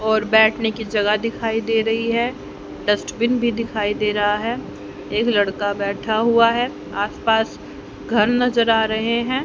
और बैठने की जगह दिखाई दे रही है डस्टबिन भी दिखाई दे रहा है एक लड़का बैठा हुआ है आस पास घर नजर आ रहे है।